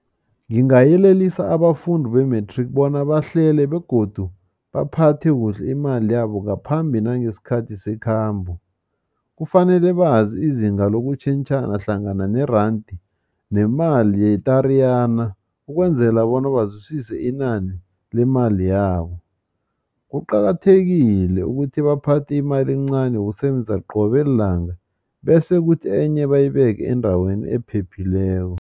Ngingayelelisa abafundi be-matric bona bahlele begodu baphathe kuhle imali yabo ngaphambi nangesikhathi sekhambo kufanele bazi izinga lokutjhentjhana hlangana nerandi nemali ye-Tariyana ukwenzela bona bazwisise inani lemali yabo. Kuqakathekile ukuthi baphathe imali encani yokusebenza qobe lilanga bese kuthi enye bayibeke endaweni ephephileko.